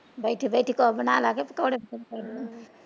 ਬੈਠੀ ਬੈਠੀ ਕੁਝ ਬਨਾਲਾ ਕ ਪਕੌੜੇ ਪਕੁੜੇ।